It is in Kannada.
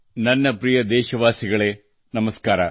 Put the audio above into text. ನನ್ನ ಪ್ರಿಯ ದೇಶವಾಸಿಗಳೇ ನಮಸ್ಕಾರ